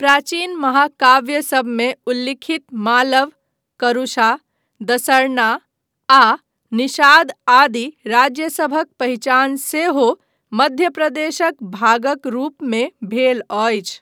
प्राचीन महाकाव्यसभमे उल्लिखित मालव, करूषा, दसरना आ निषाद आदि राज्यसभक पहिचान सेहो मध्य प्रदेशक भागक रूपमे भेल अछि।